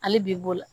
Hali bi bo la